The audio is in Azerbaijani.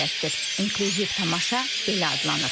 İinklüsiv tamaşa belə adlanır.